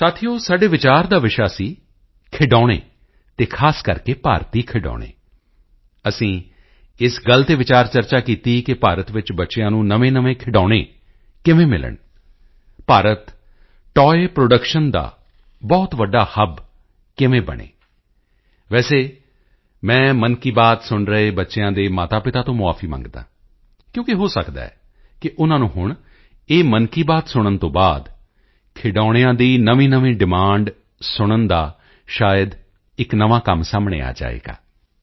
ਸਾਥੀਓ ਸਾਡੇ ਵਿਚਾਰ ਦਾ ਵਿਸ਼ਾ ਸੀ ਖਿਡੌਣੇ ਅਤੇ ਖਾਸ ਕਰਕੇ ਭਾਰਤੀ ਖਿਡੌਣੇ ਅਸੀਂ ਇਸ ਗੱਲ ਤੇ ਵਿਚਾਰਚਰਚਾ ਕੀਤੀ ਕਿ ਭਾਰਤ ਵਿੱਚ ਬੱਚਿਆਂ ਨੂੰ ਨਵੇਂਨਵੇਂ ਖਿਡੌਣੇ ਕਿਵੇਂ ਮਿਲਣ ਭਾਰਤ ਟੋਏ ਪ੍ਰੋਡਕਸ਼ਨ ਦਾ ਬਹੁਤ ਵੱਡਾ ਹੱਬ ਕਿਵੇਂ ਬਣੇ ਵੈਸੇ ਮੈਂ ਮਨ ਕੀ ਬਾਤ ਸੁਣ ਰਹੇ ਬੱਚਿਆਂ ਦੇ ਮਾਤਾਪਿਤਾ ਤੋਂ ਮੁਆਫੀ ਮੰਗਦਾ ਹਾਂ ਕਿਉਕਿ ਹੋ ਸਕਦਾ ਹੈ ਕਿ ਉਨ੍ਹਾਂ ਨੂੰ ਹੁਣ ਇਹ ਮਨ ਕੀ ਬਾਤ ਸੁਣਨ ਤੋਂ ਬਾਅਦ ਖਿਡੌਣਿਆਂ ਦੀ ਨਵੀਂਨਵੀਂ ਡਿਮਾਂਡ ਸੁਣਨ ਦਾ ਸ਼ਾਇਦ ਇੱਕ ਨਵਾਂ ਕੰਮ ਸਾਹਮਣੇ ਆ ਜਾਵੇਗਾ